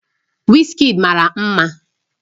Wizkid mara mma